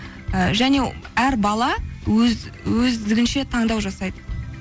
і және әр бала өздігінше таңдау жасайды